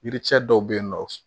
Yiricɛ dɔw bɛ yen nɔ